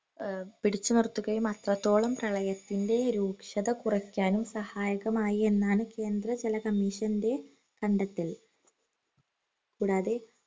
ഏർ പിടിച്ചു നിർത്തുകയും അത്രത്തോളം പ്രളയത്തിൻറെ രൂക്ഷത കുറക്കാനും സഹായകമായി എന്നാണ് കേന്ദ്ര ജല commission ൻറെ കണ്ടെത്തൽ കൂടാതെ